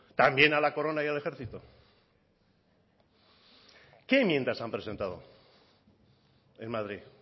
también a la corona y al ejército qué enmiendas han presentado en madrid